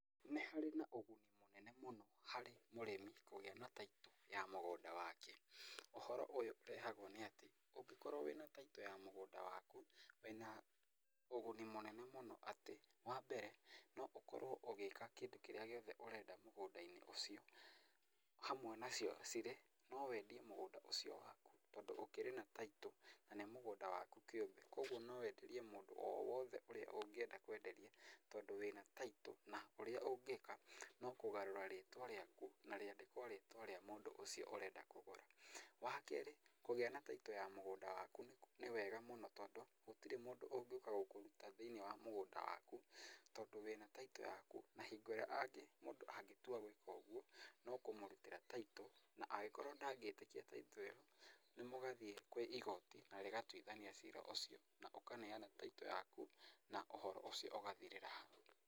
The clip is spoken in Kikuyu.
Nĩ harĩ na ũguni mũnene mũno harĩ mũrĩmi kũgĩa na taitũ ya mũgũnda wake, ũhoro ũyũ ũrehagwo nĩatĩ ũngĩkorwo wĩna taitũ ya mũgũnda waku wĩna ũguni mũnene mũno atĩ, wambere no ũkorwo ũgĩka kĩndũ kĩrĩa gĩothe ũrenda mũgũnda-inĩ ũcio, hamwe nacio cirĩ, no wendie mũgũnda ũcio waku tondũ ũkĩrĩ na taitũ na nĩ mũgũnda waku kĩũmbe kuoguo no wenderie mũndũ o wothe ũrĩa ũngĩenda kwenderia tondũ wĩna taitũ na ũrĩa ũngĩka no kũgarũra rĩtwa rĩaku na rĩandĩkwo rĩtwa rĩa mũndũ ũcio ũrenda kũgũra. Wakerĩ kũgĩa na taitũ ya mũgũnda waku nĩ wega mũno tondũ, gũtirĩ mũndũ ũngĩũka gũkũruta thĩiniĩ wa mũgũnda waku tondũ wĩna taitũ yaku na hĩngo ĩrĩa mũndũ angĩtua gwĩka ũguo no kũmũrutĩra taitũ na angĩkorwo ndagĩtĩkia taitũ ĩyo nĩmũgathiĩ kwĩ igoti na rĩgatuithania cira ũcio na ũkaneana taitũ yaku na ũhoro ũcio ũgathirĩra hau.